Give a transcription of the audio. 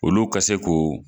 O lu ka se k'o